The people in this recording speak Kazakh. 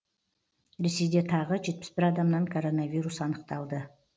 ресейде тағы жетпіс бір адамнан коронавирус анықталды